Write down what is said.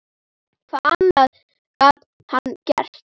Hvað annað gat hann gert?